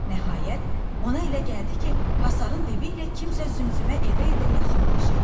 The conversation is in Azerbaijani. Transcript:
Nəhayət, ona elə gəldi ki, hasarın dibi ilə kimsə zümzümə edə-edə yaxınlaşır.